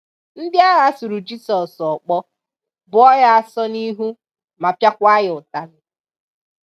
Ndị agha sụrù Jisọs okpó, bùo Ya ásọ n’ihu, ma pịa kwa Ya ụtali.